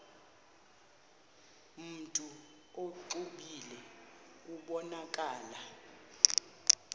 mntu exwebile kubonakala